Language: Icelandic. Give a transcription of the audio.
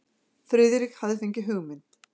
Friðrik hafði fengið hugmynd.